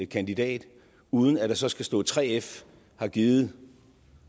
kandidat uden at der så skal stå at 3f har givet